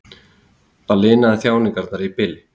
Það linaði þjáningarnar í bili.